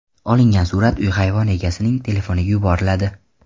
Olingan surat uy hayvoni egasining telefoniga yuboriladi.